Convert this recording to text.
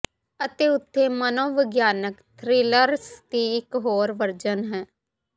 ਅਤੇ ਉੱਥੇ ਮਨੋਵਿਗਿਆਨਕ ਥ੍ਰਿਲਰਸ ਦੀ ਇਕ ਹੋਰ ਵਰਜਨ ਹੈ